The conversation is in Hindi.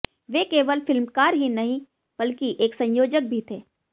वे केवल फिल्मकार ही नहीं बल्कि एक संयोजक भी थे